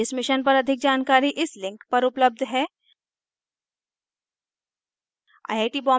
इस mission पर अधिक जानकारी इस link पर उपलब्ध है